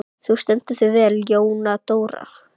Þú stendur þig vel, Jóndóra!